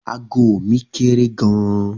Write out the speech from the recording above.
Ago mi kéré gan-an.